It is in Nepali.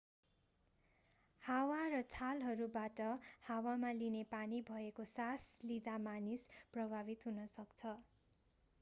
हावा र छालहरूबाट हावामा लिने पानी भएको सास लिँदा मानिस प्रभावित हुन सक्छ